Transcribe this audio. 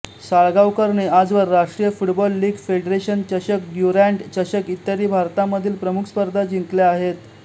साळगावकरने आजवर राष्ट्रीय football league federation चषक ड्युरँड चषक इत्यादी भारतामधील प्रमुख स्पर्धा जिंकल्या आहेत